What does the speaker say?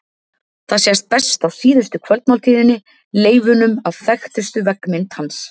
Það sést best á Síðustu kvöldmáltíðinni, leifunum af þekktustu veggmynd hans.